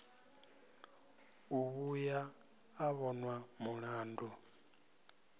u vhuya a vhonwa mulandu